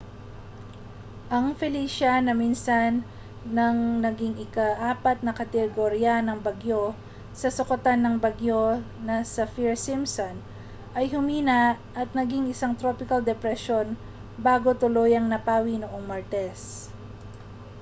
ang felicia na minsan nang naging ika-4 na kategorya ng bagyo sa sukatan ng bagyo na saffir-simpson ay humina at naging isang tropical depression bago tuluyang napawi noong martes